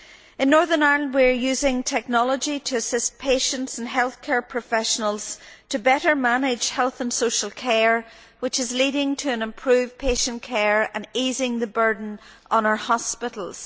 In Northern Ireland we are using technology to assist patients and healthcare professionals to better manage health and social care, which is leading to improved patient care and easing the burden on our hospitals.